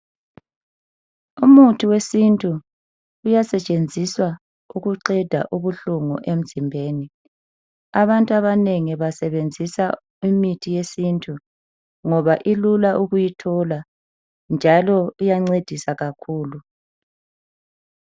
Umuthi wesintu uyasetshenziswa ukuqeda ubuhlungu emzimbeni. Abantu abanengi basebenzisa imithi yesintu ngoba ilula ukuyithola njalo iyancedisa kakhulu.